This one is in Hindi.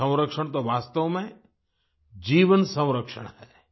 जल संरक्षण तो वास्तव में जीवन संरक्षण है